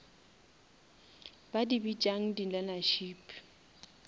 ba di bitšang di learnership